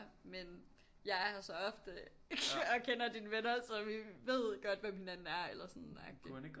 Men jeg er her så ofte og kender dine venner så vi ved godt hvem hinanden er eller sådan agtig